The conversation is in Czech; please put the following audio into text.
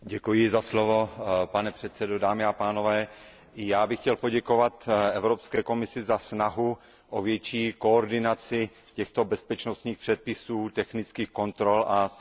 Pane předsedající, i já bych chtěl poděkovat Evropské komisi za snahu o větší koordinaci těchto bezpečnostních předpisů, technických kontrol a silničních kontrol.